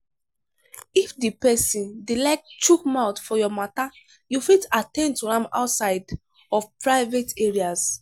if di pesin dey like chook mouth for your matter you fit at ten d to am outside of private areas